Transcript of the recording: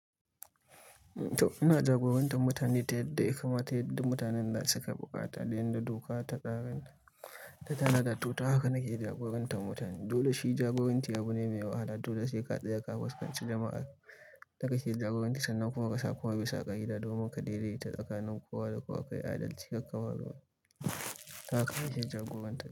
Ina jagorantar mutane ta yadda ya kamata, ta yadda mutanen da suka buƙata da inda doka ta tanada, to ta haka nake jagorantar mutane. Dole shi jagoranci abu ne mai wahala. Dole sai ka tsaya kafiskanci jama'an da kake jagoranci sannan kuma ka sa komai bisa ka'ida domin ka daidaita tsakanin kowa da kowa, ka yi adalci, ka kawar da haka ake jagoranci.